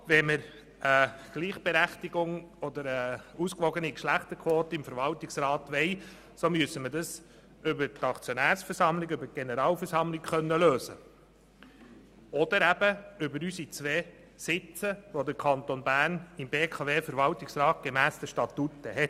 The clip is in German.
Wenn wir eine ausgewogene Geschlechterquote im Verwaltungsrat haben möchten, müssen wir das über die Aktionärsversammlung, über die Generalversammlung lösen oder eben über die beiden Sitze, die der Kanton Bern gemäss den Statuten im BKW-Verwaltungsrat hat.